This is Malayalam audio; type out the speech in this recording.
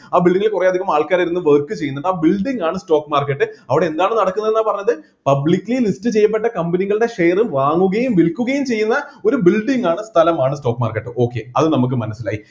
ആ building ല് കുറെ അധികം ആൾക്കാർ ഇരുന്ന് work ചെയ്യുന്നുണ്ട് ആ building ആണ് stock market അവിടെ എന്താണ് നടക്കുന്നതാന്ന പറഞ്ഞത് publicly list ചെയ്യപ്പെട്ട company കളുടെ share വാങ്ങുകയും വിൽക്കുകയും ചെയ്യുന്ന ഒരു building ആണ് സ്ഥലമാണ് stock marketok അത് നമുക്ക് മനസ്സിലായി